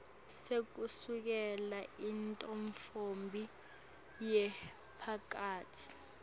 sekusukela intfombi yemphakatsi